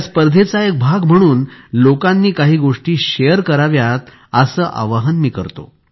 या स्पर्धेचा एक भाग म्हणून लोकांनी काही गोष्टी शेअर कराव्यात असे आवाहन मी करतो